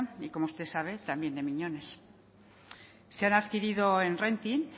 y como usted sabe también de miñones se han adquirido en renting